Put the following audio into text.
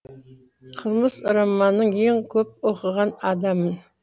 қылмыс романын ең көп оқыған адаммын